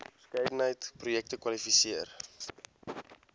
verskeidenheid projekte kwalifiseer